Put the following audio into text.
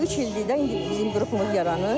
Üç ildir ki, də indi bizim qrupumuz yaranıb.